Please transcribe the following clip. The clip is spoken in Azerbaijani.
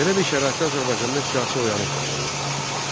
Belə bir şəraitdə Azərbaycanda siyasi oyanış başlandı.